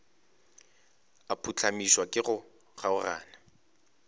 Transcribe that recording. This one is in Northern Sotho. a phuhlamišwa ke go kgaogana